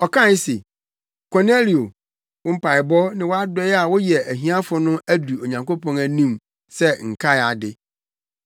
Ɔkae se, ‘Kornelio, wo mpaebɔ ne wʼadɔe a woyɛ ahiafo no adu Onyankopɔn anim sɛ nkae ade.